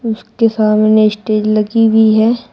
उसके सामने स्टेज लगी हुई है।